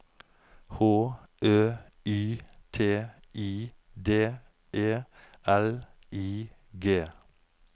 H Ø Y T I D E L I G